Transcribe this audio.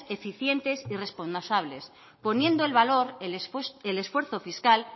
eficientes y responsables poniendo en valor el esfuerzo fiscal